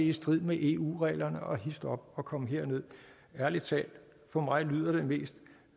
i strid med eu reglerne og histop og kom herned ærlig talt for mig lyder det mest